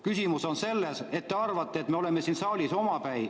Küsimus on selles, et te arvate, et me oleme siin saalis omapäi.